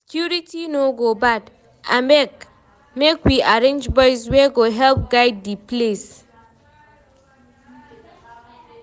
Security no go bad, abeg make we arrange boys wey go help guide di place.